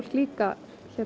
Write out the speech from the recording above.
líka